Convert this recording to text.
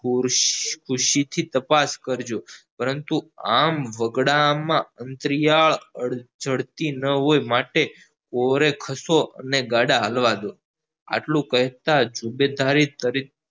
ખુશીથી તપાસ કરજો પરંતુ આમ વગડા આમ માં અંતરિયાળ જડતી ના હોય માટે ઓરે ખસો અને ગાળા ચાલવા દયો આટલું કહેતા જ